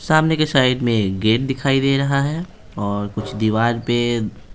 सामने के साइड में गेट दिखाई दे रहा हैऔर कुछ दीवार पे---